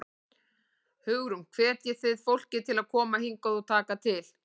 Hugrún: Hvetjið þið fólk til að koma hingað og taka til?